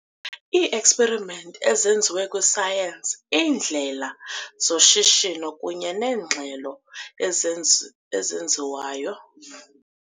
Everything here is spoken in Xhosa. IIi-experiments ezeziwa kwi-science, iindlela zoshishino kunye neengxelo ezenzi ezenziwayo